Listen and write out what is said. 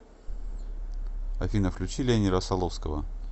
афина включи лени россоловского